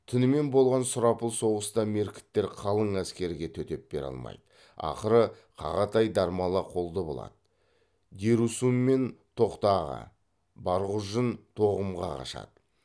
түнімен болған сұрапыл соғыста меркіттер қалың әскерге төтеп бере алмайды ақыры қағатай дармала қолды болады дерусүнмен тоқтааға барғұжын тоғымға қашады